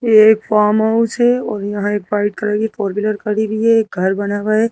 ये एक farm house है और यहाँ एक वाइट कलर की फोर व्हीलर खड़ी हुई है एक घर बना हुआ है।